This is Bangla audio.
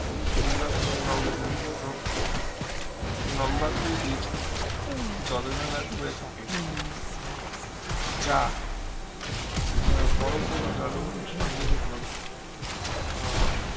মূলত মূলত লম্বাকৃতির জলধারা হয়ে থাকে যা বড়ো কোনো জলখণ্ডের উপর আহ